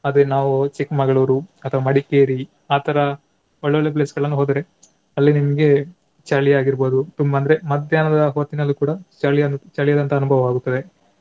ಅದೇ ನಾವು ಚಿಕ್ಮಗಳೂರು ಅಥವಾ ಮಡಿಕೇರಿ ಅ ತರ ಒಳ್ಳೊಳ್ಳೆ place ಗಳನ್ನೂ ಹೋದರೆ ಅಲ್ಲಿ ನಿಮ್ಗೆ ಚಳಿ ಆಗಿರ್ಬಹುದು ತುಂಬಾ ಅಂದ್ರೆ ಮಧ್ಯಾಹ್ನದ ಹೊತ್ತಿನಲ್ಲಿ ಕೂಡ ಚಳಿಯ~ ಚಳಿಯಾದಂತಹ ಅನುಭವ ಆಗ್ತದೆ.